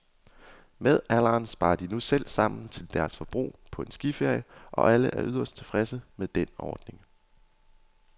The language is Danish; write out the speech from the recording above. Med alderen sparer de nu selv sammen til deres forbrug på en skiferie, og alle er yderst tilfredse med den ordning.